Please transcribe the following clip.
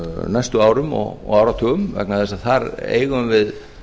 næstu árum og áratugum vegna þess að þar eigum við